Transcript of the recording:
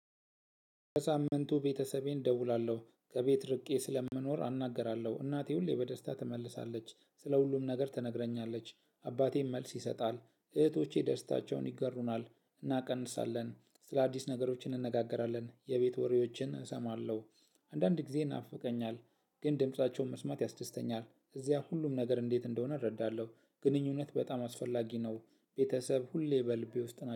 በሳምንቱ ቤተሰቤን እደውላለሁ ከቤት ርቄ ስለምኖር አናግራለሁ እናቴ ሁሌ በደስታ ትመልሳለች ስለ ሁሉም ነገር ተነግረኛለች አባቴም መልስ ይሰጣል እህቶቼ ደስታቸውን ይጋሩናል። ስለ አዲስ ነገሮች እንነጋገራለን የቤት ወሬዎችን እሰማለሁ። አንዳንድ ጊዜ ይናፍቀኛል ግን ድምፃቸውን መስማት ያስደስተኛል። እዚያ ሁሉም ነገር እንዴት እንደሆነ እረዳለሁ። ግንኙነት በጣም አስፈላጊ ነው። ቤተሰብ ሁሌ በል ቢወስድ